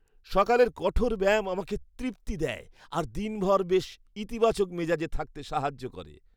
সকালের কঠোর ব্যায়াম আমাকে তৃপ্তি দেয় আর দিনভর বেশ ইতিবাচক মেজাজে থাকতে সাহায্য করে।